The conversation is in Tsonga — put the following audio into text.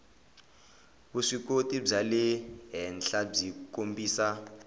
vuswikoti bya le henhlabyi kombisa